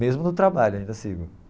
Mesmo no trabalho, ainda sigo.